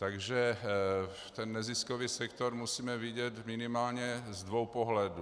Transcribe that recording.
Takže ten neziskový sektor musíme vidět minimálně z dvou pohledů.